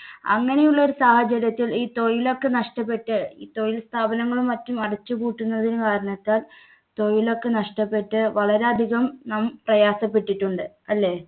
അങ്ങനെയുള്ള ഒരു സാഹചര്യത്തിൽ ഈ തൊഴിലൊക്കെ നഷ്ടപ്പെട്ട് ഈ തൊഴിൽ സ്ഥാപനങ്ങളും മറ്റും അടച്ചുപൂട്ടുന്നതിനു കാരണത്താൽ തൊഴിലൊക്കെ നഷ്ടപ്പെട്ട് വളരെയധികം നാം പ്രയാസപ്പെട്ടിട്ടുണ്ട്. അല്ലേ?